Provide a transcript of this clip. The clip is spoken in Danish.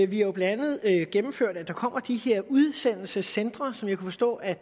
vi jo blandt andet har gennemført at der kommer de her udsendelsescentre som jeg kan forstå at